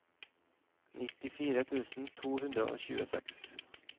nittifire tusen to hundre og tjueseks